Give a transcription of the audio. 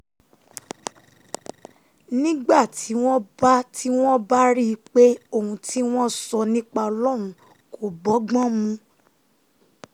nígbà um tí wọ́n bá tí wọ́n bá um rí i pé ohun tí wọ́n ń sọ nípa ọlọ́run kò bọ́gbọ́n mu